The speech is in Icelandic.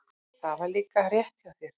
Það var líka rétt hjá þér.